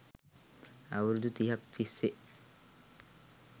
අවුරුදු තිහක් තිස්සේ